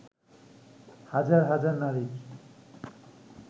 হাজার হাজার নারীর